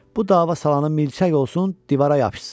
Bu dava salanın milçək olsun, divara yapışsın.